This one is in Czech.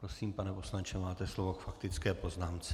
Prosím, pane poslanče, máte slovo k faktické poznámce.